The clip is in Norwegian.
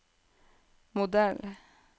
modell